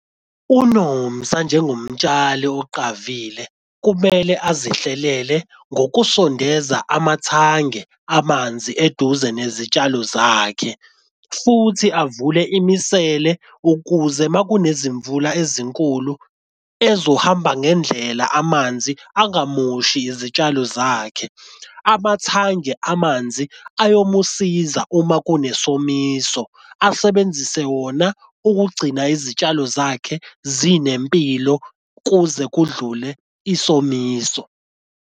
UNomsa njengomtshali oqavile kumele azihlalele ngokusondeza amathange amanzi eduze nezitshalo zakhe futhi avule imisele ukuze uma kunezimvula ezinkulu ezohamba ngendlela amanzi angamoshi izitshalo zakhe. Amathange amanzi ayomusiza uma kunesomiso asebenzise wona ukugcina izitshalo zakhe zinempilo kuze kudlule isomiso.